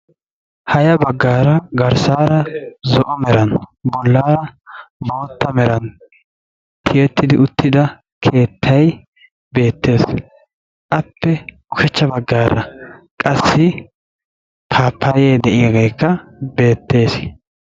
Ha ya baggaara garssaara zo"o meran bollaara bootta meran tiyetti uttida keettayi beettes. Appe ushachcha baggaarakka qassi paappayyee de"iyageekka beettes.